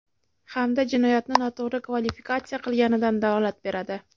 hamda jinoyatni noto‘g‘ri kvalifikatsiya qilganligidan dalolat beradi.